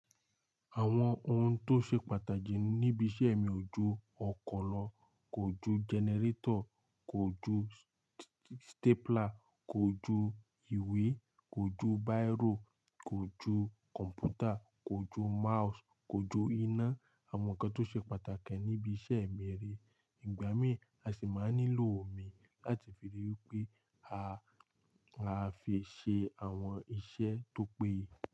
Àwọn ohun tó ṣe pàtàkì níbi iṣẹ́ mi ojú ọkọ̀ lọ, kójú generator, kójú stapler, kójú ìwé, kójú biro, kójú kọ̀m̀pútà, kójú mouse, kójú iná, àwọn nǹkan tó ṣe pàtàkì níbi iṣẹ́ mi rè. Ìgbà mí, a sì máa nílò omi láti fi ríi pé a fi ṣe àwọn iṣẹ́ tó péye.